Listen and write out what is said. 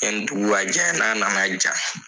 Yanni dugu ka jɛ n'a na na ja.